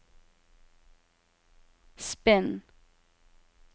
spinn